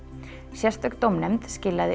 sérstök dómnefnd skilaði